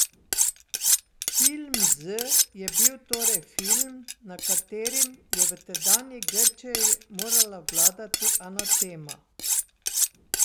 Film Z je bil torej film, nad katerim je v tedanji Grčiji morala vladati anatema.